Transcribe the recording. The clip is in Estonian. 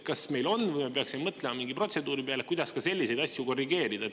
Kas meil on või peaksime välja mõtlema mingid protseduurid, kuidas selliseid asju korrigeerida?